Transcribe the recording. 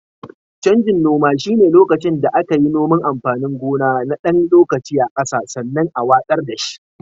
Canjin noma shine lokacin da aka yi noman amfanin gona na ɗan lokaci a ƙasa sannan a watsar da shi.